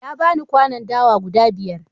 Ya ba ni kwanon dawa guda biyar.